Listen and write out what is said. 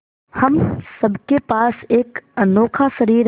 हम सब के पास एक अनोखा शरीर है